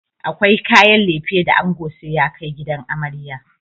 Akwai kayan lefe da ango sai ya kai gidan amarya.